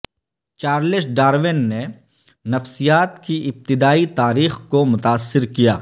Charles Darwin نے نفسیات کی ابتدائی تاریخ کو متاثر کیا